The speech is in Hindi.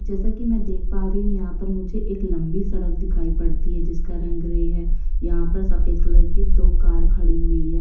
जैसा की मैं देख पा रही हूँ यहाँ पर मुझे एक लंबी सड़क दिखाई पड़ती है जिसका रंग ग्रे है। यहाँ पर सफेद कलर की दो कार खड़ी हुई है।